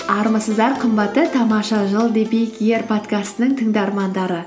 армысыздар қымбатты тамаша жыл подкастының тыңдармандары